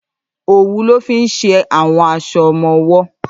Ówù lò fi n ṣé áwòn áṣò òmò òwò